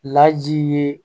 Laji ye